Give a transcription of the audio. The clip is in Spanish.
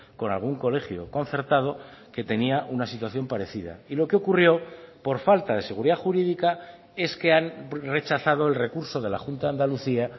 con algún colegio concertado que tenía una situación parecida y lo que ocurrió por falta de seguridad jurídica es que han rechazado el recurso de la junta de andalucía